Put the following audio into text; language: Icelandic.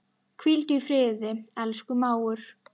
Hvíldu í friði, elsku mágur.